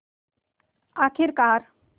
आख़िरकार